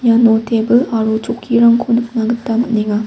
iano tebil aro chokkirangko nikna gita man·enga.